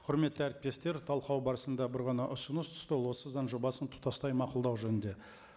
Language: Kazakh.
құрметті әріптестер талқылау барысында бір ғана ұсыныс түсті ол осы заң жобасын тұтастай мақұлдау жөнінде